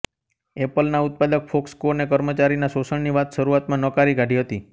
એપલના ઉત્પાદક ફોક્સકોને કર્મચારીના શોષણની વાત શરૂઆતમાં નકારી કાઢી હતી